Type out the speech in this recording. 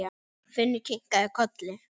Finnur kinkaði kolli.